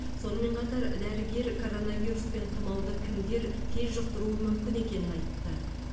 сонымен қатар дәрігер коронавирус пен тұмауды кімдер тез жұқтыруы мүмкін екенін айтты